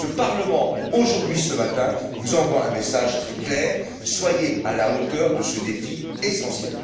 Ce Parlement, aujourd'hui, ce matin, vous envoie un message très clair. Soyez à la hauteur de ce défi essentiel!